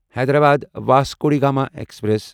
Hyderabad Vasco da Gama express